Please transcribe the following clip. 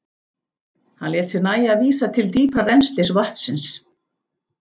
Hann lét sér nægja að vísa til dýpra rennslis vatnsins.